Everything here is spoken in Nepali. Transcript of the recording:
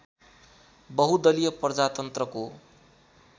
बहुदलीय प्रजातन्त्रको